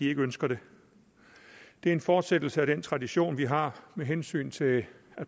ikke ønsker det det er en fortsættelse af den tradition vi har med hensyn til at